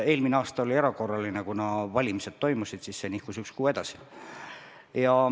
Eelmine aasta oli erakorraline, kuna toimusid valimised, ja see nihkus ühe kuu võrra edasi.